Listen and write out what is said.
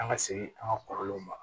An ka segin an ka kɔrɔlenw ma